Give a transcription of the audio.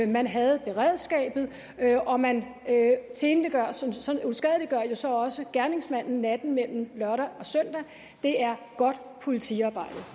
man havde beredskabet og man uskadeliggør jo så også gerningsmanden natten mellem lørdag og søndag det er godt politiarbejde